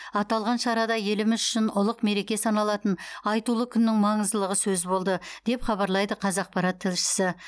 аталған шарада еліміз үшін ұлық мереке саналатын айтулы күннің маңыздылығы сөз болды деп хабарлайды қазақпарат тілшісі